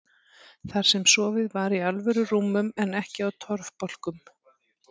Þar sem sofið var í alvöru rúmum en ekki á torfbálkum.